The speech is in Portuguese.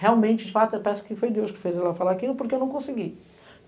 Realmente, de fato, eu peço que foi Deus que fez ela falar aquilo, porque eu não consegui.